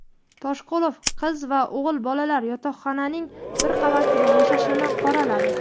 Toshqulov qiz va o‘g‘il bolalar yotoqxonaning bir qavatida yashashini qoraladi.